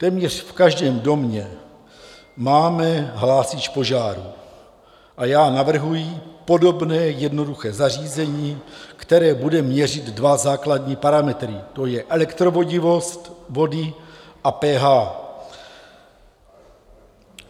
Téměř v každém domě máme hlásič požáru a já navrhuji podobné jednoduché zařízení, které bude měřit dva základní parametry, to je elektrovodivost vody a pH.